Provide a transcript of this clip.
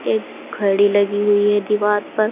एक घड़ी लगी हुई है दीवार पर।